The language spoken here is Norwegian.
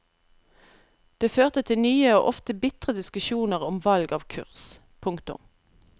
Det førte til nye og ofte bitre diskusjoner om valg av kurs. punktum